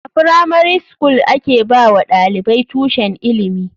A firamari skul a ke ba wa ɗalibai tushen ilimi.